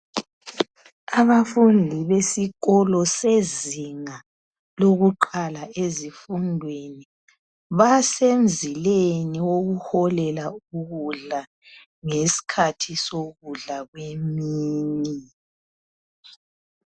Abafundi besikolo sezinga lokuqala ezifundweni basemzileni wokuholela ukudla ngesikhathi sokudla kwemini.